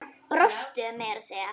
Brostu meira að segja.